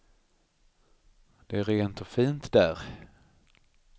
Det är rent och fint där.